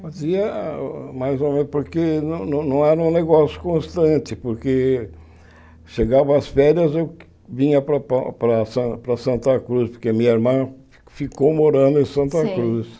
Fazia mais ou menos, porque não não era um negócio constante, porque chegava às férias eu vinha para para para San para Santa Cruz, porque a minha irmã ficou morando em Santa Cruz.